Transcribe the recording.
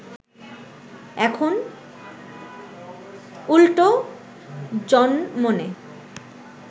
এখন উল্টো জনমনে